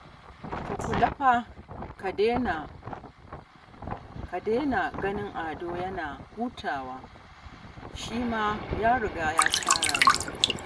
Ka kula fa, ka daina ganin Ado yana hutawa, shi ma ya riga ya tara ne